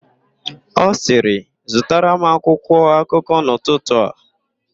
Ọ sịrị, "zụtara m akwụkwọakụkọ n'ụtụtụ a"!.